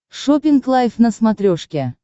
шоппинг лайф на смотрешке